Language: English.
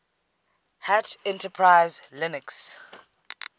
hat enterprise linux